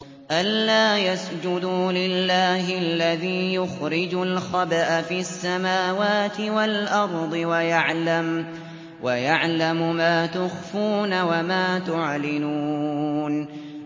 أَلَّا يَسْجُدُوا لِلَّهِ الَّذِي يُخْرِجُ الْخَبْءَ فِي السَّمَاوَاتِ وَالْأَرْضِ وَيَعْلَمُ مَا تُخْفُونَ وَمَا تُعْلِنُونَ